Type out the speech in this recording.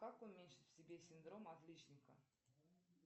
как уменьшить в себе синдром отличника